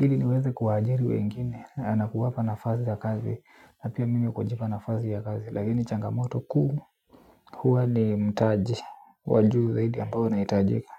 ili niweze kuajiri wengine nakuwapa nafasi za kazi. Na pia mimi kujipa nafasi ya kazi lakini changamoto kuu huwa ni mtaji wa juu zaidi ambao nahitajika.